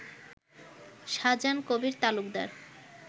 Shahjahan Kabir Talukdar